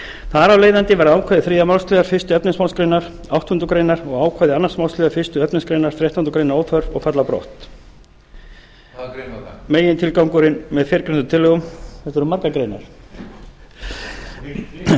þar af leiðandi verða ákvæði þriðju málsl fyrstu efnismgr áttundu greinar og ákvæði annarrar málsl fyrstu efnismgr þrettándu grein óþörf og falla brott þetta eru margar greinar megintilgangurinn